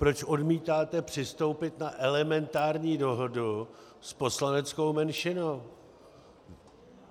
Proč odmítáte přistoupit na elementární dohodu s poslaneckou menšinou?